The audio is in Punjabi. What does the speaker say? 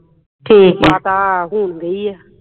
ਮਾਤਾ ਹੁਣ ਗਈ ਹੈ